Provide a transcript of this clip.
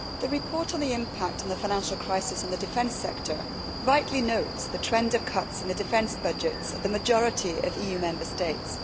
Mr President, the report on the impact of the financial crisis on the defence sector rightly notes the trend of cuts in the defence budgets of the majority of EU Member States.